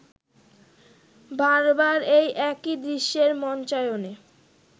বারবার এই একই দৃশ্যের মঞ্চায়নে